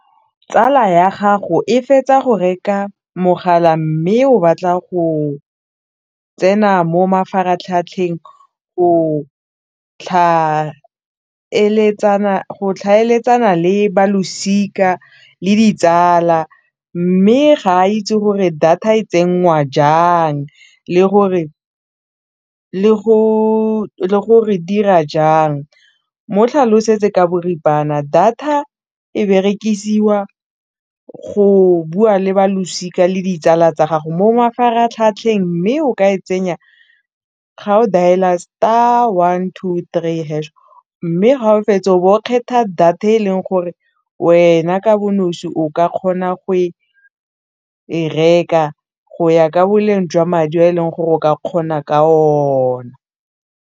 Tsala ya gago e fetsa go reka mogala mme o batla go tsena mo mafaratlhatlheng go tlhaeletsana le balosika le ditsala mme ga a itse gore data e tsenngwa jang le gore dira jang mo tlhalosetse ka boripana data e berekisiwa go bua le balosika le ditsala tsa gago mo mafaratlhatlheng mme o ka e tsenya ga o dail-a star one two three hash mme ga o fetsa o bo kgetha o data e leng gore wena ka bonosi o ka kgona go e reka go ya ka boleng jwa madi a e leng gore o ka kgona ka ona.